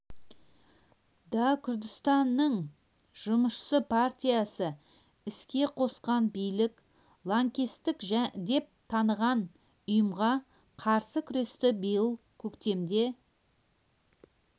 да күрдістанның жұмысшы партиясы іске қосқан билік лаңкестік деп таныған ұйымға қарсы күресті биылғы көктемде